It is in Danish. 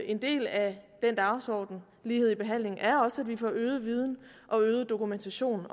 en del af den dagsorden lighed i behandlingen er også at vi får øget viden og øget dokumentation